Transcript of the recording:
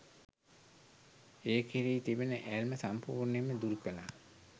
ඒ කෙරෙහි තිබෙන ඇල්ම සම්පූර්ණයෙන්ම දුරුකළා.